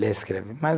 Ler e escrever. Mas